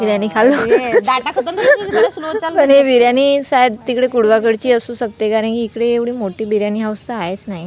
बिर्याणी शायद तिकडे कुडवा कडची आसू शकते कारण कि इकडे एव्हढी मोठी बिर्याणी हाऊस तर आहेच नाही.